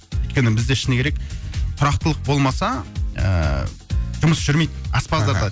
өйткені бізде шыны керек тұрақтылық болмаса ыыы жұмыс жүрмейді аспаздарда